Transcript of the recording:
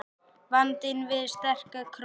Vandinn við sterka krónu